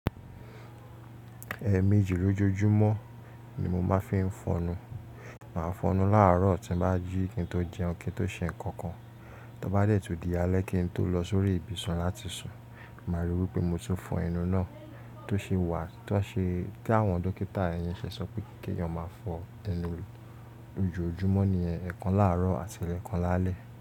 Ẹẹ̀ méjì lójojúmọ́ ni mo máa fí ń fọnu. Màá fọnu láàrọ̀ tí n bá jí kí n tó jẹun kí n tó ṣe nǹkan kan, tí n bá dẹ́ẹ̀ tó di alẹ́ kí n tó lọ sórí ibùsùn láti sùn. Màá ríi wí pé mo ti fọ inú náà. Tó ṣe wà, tó ṣe kí àwọn dókítà yín ṣe sọ pé kí èèyàn máa fọ ẹnu lójojúmọ́ ní ẹẹkan láàrọ̀ àti ẹẹkan lálẹ́